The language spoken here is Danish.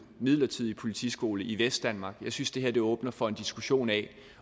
midlertidige politiskole i vestdanmark jeg synes det her åbner for en diskussion af